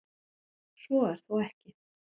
Svo er þó ekki.